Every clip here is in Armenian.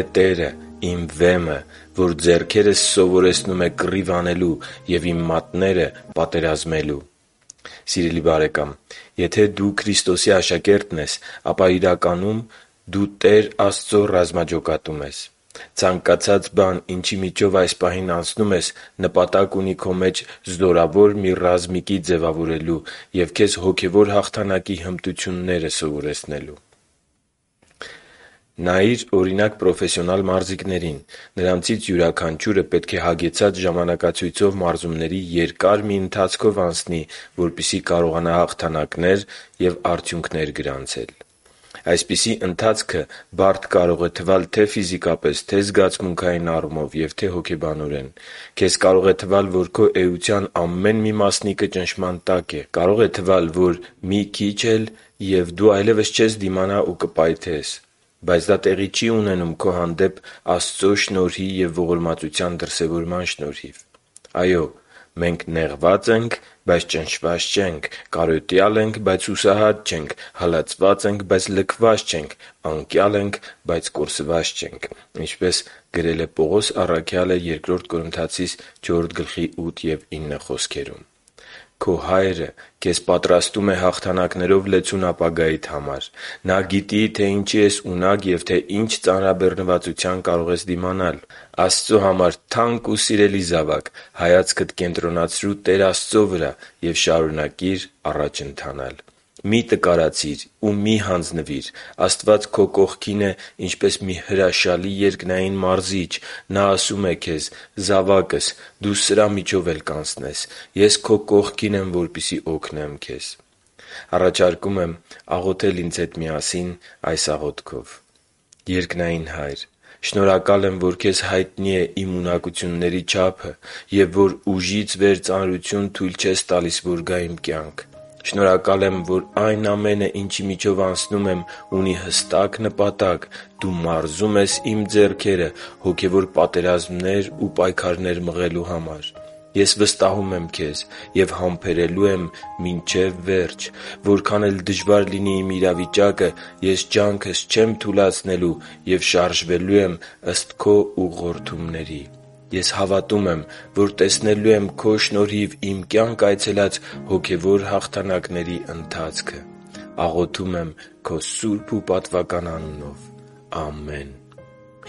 է Տերը, իմ Վեմը, որ ձեռքերս սովորեցնում է կռիվ անելու և իմ մատները՝ պատերազմելու» (Սաղմոս 144.1): Սիրելի՛ բարեկամ, եթե դու Քրիստոսի աշակերտն ես, ապա, իրականում, դու Տեր Աստծո «ռազմաջոկատում» ես։ Ցանկացած բան, ինչի միջով այս պահին անցնում ես, նպատակ ունի քո մեջ զորավոր մի ռազմիկի ձևավորելու և քեզ հոգևոր հաղթանակի հմտությունները սովորեցնելու։ Նայի՛ր, օրինակ, պրոֆեսիանալ մարզիկներին։ Նրանցից յուրաքանչյուրը պետք է հագեցած ժամանակացույցով մարզումների երկար մի ընթացքով անցնի, որպեսզի կարողանա հաղթանակներ և արդյունքներ գրանցել։ Այսպիսի ընթացքը բարդ կարող է լինել թե՛ ֆիզիկապես, թե՛ զգացմունքային առումով և թե՛ հոգեբանորեն։ Քեզ կարող է թվալ, որ քո էության ամեն մի մասնիկը ճնշման տակ է։ Կարող է թվալ, որ մի քիչ էլ և դու այլևս չես դիմանա ու կպայթես։ Բայց դա տեղի չի ունենում քո հանդեպ Աստծո շնորհի և ողորմության դրսևորման շնորհիվ։ Այո՛, մենք «… նեղված ենք, բայց ճնշված չենք, կարոտյալ ենք, բայց հուսահատ չենք, հալածված ենք, բայց լքված չենք, անկյալ ենք, բայց կորսված չենք» (Բ Կորնթացիներին 4.8-9): Քո Հայրը քեզ պատրաստում է հաղթանակներով լեցուն ապագայիդ համար։ Նա գիտի, թե ինչի ես ունակ ու թե ինչ ծանրաբեռնվածության կարող ես դիմանալ։ Աստծո համար թանկ ու սիրելի՛ զավակ, հայացքդ կենտրոնացրու Տեր Աստծո վրա և շարունակիր առաջ ընթանալ։ Մի՛ տկարացիր ու մի՛ հանձնվիր։ Աստված քո կողքին է ինչպես մի հրաշալի երկնային Մարզիչ։ Նա ասում է քեզ. «Զավա՛կս, դու սրա միջով էլ կանցնես։ Ես քո կողքին եմ, որպեսզի օգնեմ քեզ»։ Առաջարկում եմ աղոթել ինձ հետ միասին այս աղոթքով. «Երկնային Հա՛յր, շնորհակալ եմ, որ Քեզ հայտնի է իմ ունակությունների չափը և որ ուժից վեր ծանրություն թույլ չես տալիս, որ գա իմ կյանք։ Շնորհակալ եմ, որ այն ամենը, ինչի միջով անցնում եմ, ունի հստակ նպատակ՝ Դու մարզում ես իմ ձեռքերը հոգևոր պատերազմներ ու պայքարներ մղելու համար։ Ես վստահում եմ Քեզ և համբերելու եմ մինչև վերջ։ Որքան էլ դժվար լինի իմ իրավիճակը, ես ջանքս չեմ թուլացնելու և շարժվելու եմ ըստ Քո ուղղորդումների։ Ես հավատում եմ, որ տեսնելու եմ Քո շնորհիվ իմ կյանք այցելած հոգևոր հաղթանակների ընթացքը։ Աղոթում եմ Քո սուրբ ու պատվական անունով։ Ամե՛ն»։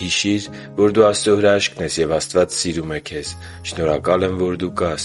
Հիշի՛ր, որ դու Աստծո հրաշքն ես, և Աստված սիրում է քեզ։ Շնորհակալ եմ, որ դու կա՛ս